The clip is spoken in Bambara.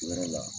Wɛrɛ la